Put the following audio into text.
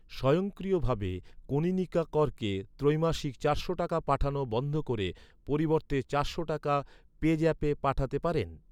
স্বয়ংক্রিয়ভাবে কনীনিকা করকে ত্রৈমাসিক চারশো টাকা পাঠানো বন্ধ করে পরিবর্তে চারশো টাকা পেজ্যাপে পাঠাতে পারেন?